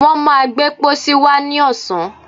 wọ́n má gbé pósí wá ní ọ̀sán.